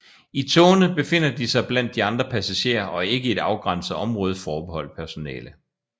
I togene befinder de sig blandt de andre passagerer og ikke i et afgrænset område forbeholdt personale